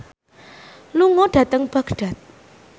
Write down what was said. lunga dhateng Baghdad